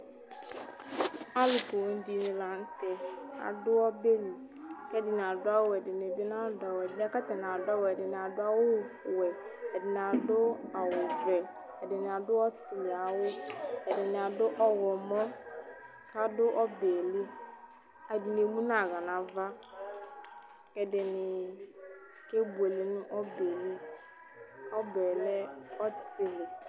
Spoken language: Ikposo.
Alu poo dìní la ntɛ adu ɔbɛli Ɛdiní adu awu, ɛdiní bi nadu awu Ɛdiní yɛ kʋ atani adu awu yɛ ɛdiní adu awu vɛ ɔtili ayʋ awu Ɛdiní adu ɔwlɔmɔ kʋ adu ɔbɛli Ɛdiní emu nʋ aɣla nʋ ava kʋ ɛdiní kebʋele nʋ ɔbɛli Ɔbɛ lɛ ɔtili